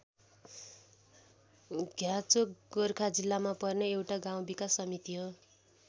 घ्याचोक गोर्खा जिल्लामा पर्ने एउटा गाउँ विकास समिति हो।